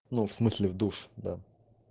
ну в смысле в душ да